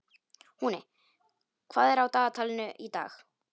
Húni, hvað er á dagatalinu í dag?